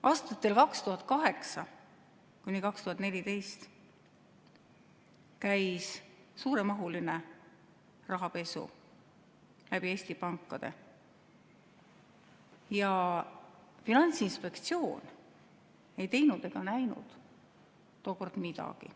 Aastatel 2008–2014 käis läbi Eesti pankade suuremahuline rahapesu ja Finantsinspektsioon ei teinud ega näinud tookord midagi.